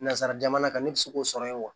Nanzara jamana kan ne bi se k'o sɔrɔ yen wa